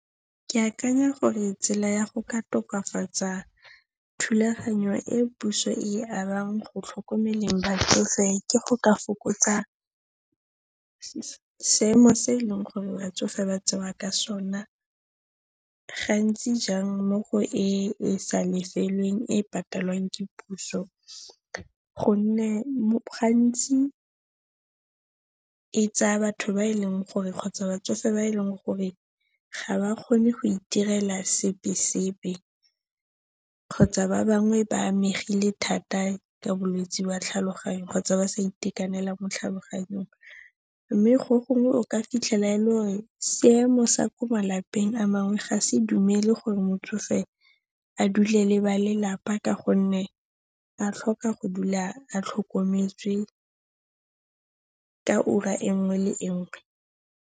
Ke akanya gore tsela ya go ka tokafatsa thulaganyo e puso e abang go tlhokomeleng batsofe, ke go ka fokotsa seemo se eleng gore batsofe ba tsewa ka sona gantsi jang mo go e e sa lefeleng, e e patalang ke puso gonne gantsi e tsaya batho ba e leng gore kgotsa batsofe ba e leng gore ga ba kgone go itirela sepe-sepe, kgotsa ba bangwe ba amegile thata ka bolwetse jwa tlhaloganyo kgotsa ba sa itekanela mo tlhaloganyong. Mme go gongwe o ka fitlhela e le ruri seemo sa ko malapeng a nngwe ga se dumele gore motsofe a dule le ba lelapa ka gonne a tlhoka go dula a tlhokometswe ka ura e nngwe le e nngwe.